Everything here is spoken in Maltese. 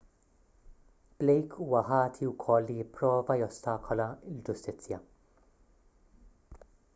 blake huwa ħati wkoll li pprova jostakola l-ġustizzja